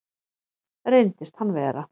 Reyndist hann vera